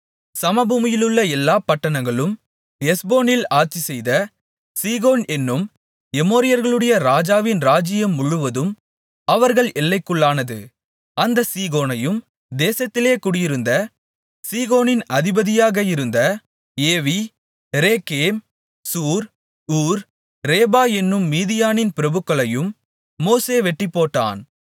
சமபூமியிலுள்ள எல்லாப் பட்டணங்களும் எஸ்போனில் ஆட்சிசெய்த சீகோன் என்னும் எமோரியர்களுடைய ராஜாவின் ராஜ்யம் முழுவதும் அவர்கள் எல்லைக்குள்ளானது அந்தச் சீகோனையும் தேசத்திலே குடியிருந்து சீகோனின் அதிபதியாக இருந்த Evi Rekem Zur Hur Reba என்னும் மீதியானின் பிரபுக்களையும் மோசே வெட்டிப்போட்டான்